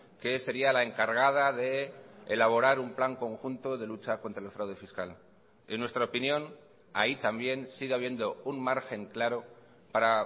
que sería la encargada de elaborar un plan conjunto de lucha contra el fraude fiscal en nuestra opinión ahí también sigue habiendo un margen claro para